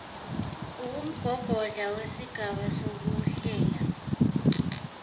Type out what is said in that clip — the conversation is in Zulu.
uwumgogodla wesigaba sokuhlela